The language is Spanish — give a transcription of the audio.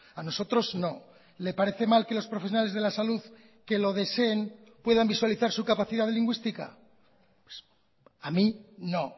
a nosotros no le parece mal que los profesionales de la salud que lo deseen puedan visualizar su capacidad lingüística a mí no